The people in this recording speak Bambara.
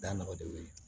Da nɔgɔ tɛ wuli